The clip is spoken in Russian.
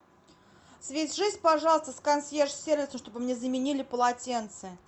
свяжись пожалуйста с консьерж сервисом чтобы мне заменили полотенце